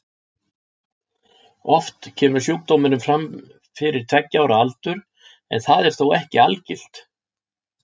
Oft kemur sjúkdómurinn fram fyrir tveggja ára aldur en það er þó ekki algilt.